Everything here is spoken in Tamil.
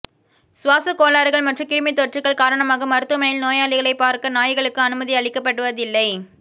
சுவாசக் கோளாறுகள் மற்றும் கிருமித் தொற்றுக்கள் காரணமாக மருத்துவமனையில் நோயாளிகளை பார்க்க நாய்களுக்கு அனுமதி அளிக்கப்படுவதில்லை